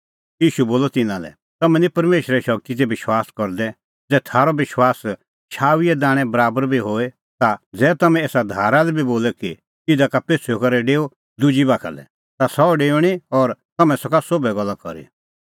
ईशू बोलअ तिन्नां लै तम्हैं निं परमेशरे शगती दी विश्वास करदै ज़ै थारअ विश्वास शाऊईए दाणैं बराबर बी होए ता ज़ै तम्हैं एसा धारा लै बी बोले कि इधा का पेछ़ुई करै डेऊ दुजी बाखा लै ता सह डेऊणीं और तम्हैं सका सोभै गल्ला करी